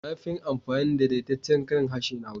Na fi yin amfani da daidaitaccen karin harshe na Hausa.